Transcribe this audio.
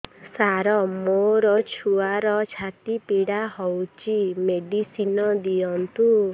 ସାର ମୋର ଛୁଆର ଛାତି ପୀଡା ହଉଚି ମେଡିସିନ ଦିଅନ୍ତୁ